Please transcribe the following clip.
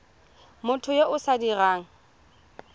motho yo o sa dirang